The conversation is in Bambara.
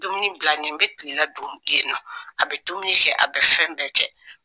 Dumuni bilanen n bɛ kilela dun yen nɔ, a bɛ dumini kɛ a be fɛn bɛɛ kɛ